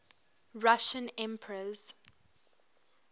russian emperors